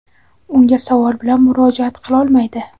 unga savol bilan murojaat qilolmaydi.